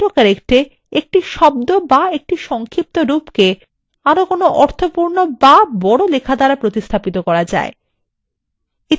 auto correct এ একটি শব্দ অথবা একটি সংক্ষিপ্তরূপকে আরো কোনো অর্থপূর্ণ বা বড় লেখা দ্বারা প্রতিস্থাপিত করা যায়